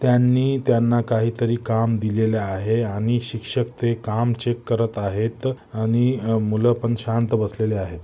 त्यांनी त्यांना काहीतरी काम दिलेले आहे आणि शिक्षक ते काम चेक करत आहेत आणि अह मूल पण शांत बसलेले आहे.